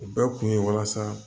O bɛɛ kun ye walasa